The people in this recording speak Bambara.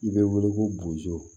I bɛ wele ko bozo